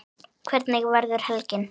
Hvernig verður helgin?